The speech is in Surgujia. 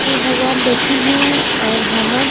शिव भगवान बइठिन हे और हमर--